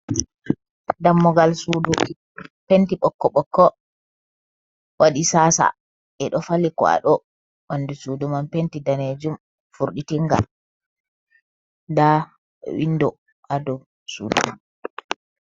Dammugal sudu penti ɓokko ɓokko, waɗi sasa ɓeɗo fali kwaɗo, ɓandu sudu man penti ɗanejum, furditinga nda windo ha dou sudu man.